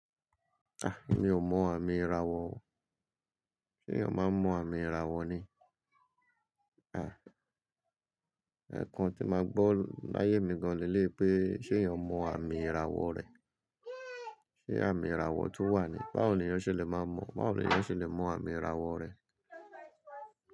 Ah! Emi ò mọ àmì ìràwọ̀ o. Ṣé èèyàn máa ń mọ àmì ìràwọ̀ ni? Ah! Ẹ̀ẹ̀kan tí máa gbọ́ láyé mi gan-an ni lé e pé ṣé èèyàn mọ àmì ìràwọ̀ rẹ. Ṣé àmì ìràwọ̀ tún wà ni? Báwo ni èèyàn ṣe lè máa mọ̀? Báwo ni èèyàn ṣe lè mọ àmì ìràwọ̀ rẹ̀?